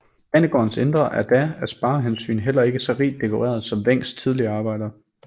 Banegårdens indre er da af sparehensyn heller ikke så rigt dekoreret som Wencks tidligere arbejder